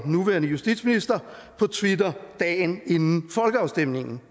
nu er justitsminister på twitter dagen inden folkeafstemningen